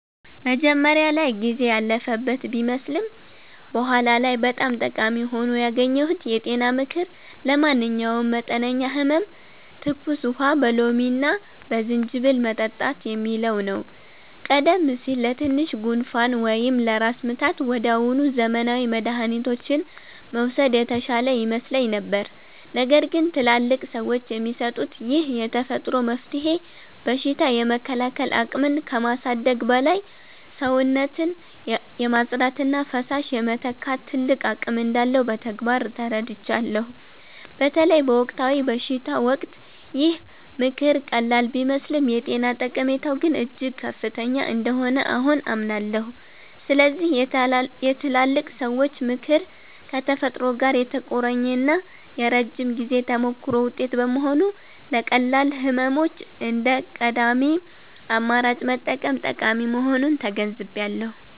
መጀመሪያ ላይ ጊዜ ያለፈበት ቢመስልም በኋላ ላይ በጣም ጠቃሚ ሆኖ ያገኘሁት የጤና ምክር 'ለማንኛውም መጠነኛ ህመም ትኩስ ውሃ በሎሚና በዝንጅብል መጠጣት' የሚለው ነው። ቀደም ሲል ለትንሽ ጉንፋን ወይም ለራስ ምታት ወዲያውኑ ዘመናዊ መድኃኒቶችን መውሰድ የተሻለ ይመስለኝ ነበር። ነገር ግን ትላልቅ ሰዎች የሚሰጡት ይህ የተፈጥሮ መፍትሄ በሽታ የመከላከል አቅምን ከማሳደጉም በላይ፣ ሰውነትን የማጽዳትና ፈሳሽ የመተካት ትልቅ አቅም እንዳለው በተግባር ተረድቻለሁ። በተለይ በወቅታዊ በሽታዎች ወቅት ይህ ምክር ቀላል ቢመስልም የጤና ጠቀሜታው ግን እጅግ ከፍተኛ እንደሆነ አሁን አምናለሁ። ስለዚህ የትላልቅ ሰዎች ምክር ከተፈጥሮ ጋር የተቆራኘና የረጅም ጊዜ ተሞክሮ ውጤት በመሆኑ፣ ለቀላል ህመሞች እንደ ቀዳሚ አማራጭ መጠቀም ጠቃሚ መሆኑን ተገንዝቤያለሁ።